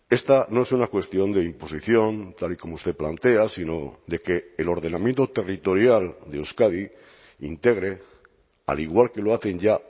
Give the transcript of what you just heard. esta no es una cuestión de imposición tal y como usted plantea sino de que el ordenamiento territorial de euskadi integre al igual que lo hacen ya